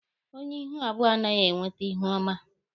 Onye ihu abụọ anaghị enwete ihuọma.